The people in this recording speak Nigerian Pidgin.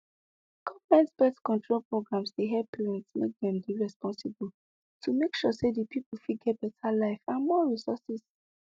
government birth control programs dey help parent make dem dey responsible to make sure say the people fit get better life and more resourses